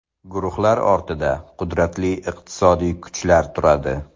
Guruhlar ortida qudratli iqtisodiy kuchlar turadi.